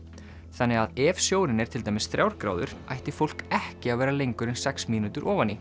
þannig að ef sjórinn er til dæmis þrjár gráður ætti fólk ekki að vera lengur en sex mínútur ofan í